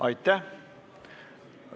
Aitäh!